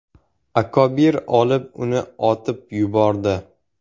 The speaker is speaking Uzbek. Akobir olib, uni otib yubordi.